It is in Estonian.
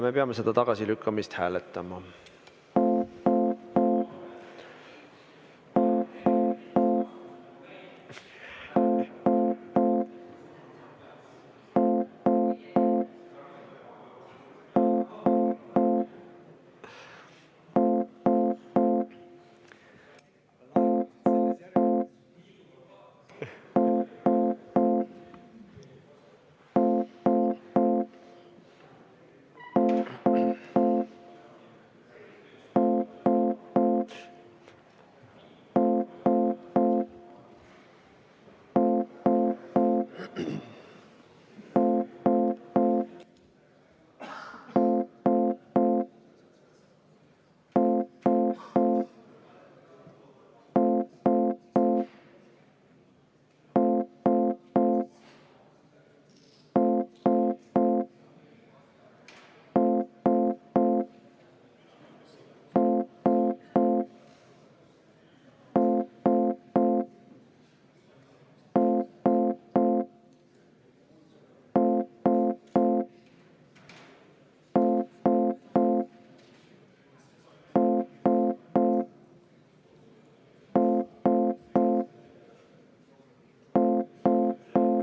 Me peame seda tagasilükkamist hääletama.